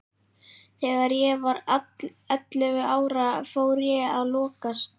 Þegar ég var ellefu ára fór ég að lokast.